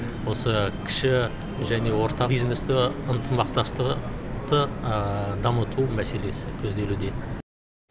осы кіші және орта бизнесті ынтымақтастығы дамыту мәселесі көзделуде